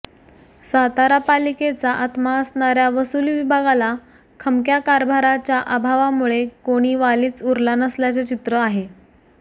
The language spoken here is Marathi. सातारा पालिकेचा आत्मा असणाऱ्या वसुली विभागाला खमक्या कारभाराच्या अभावामुळे कोणी वालीच उरला नसल्याचे चित्र आहे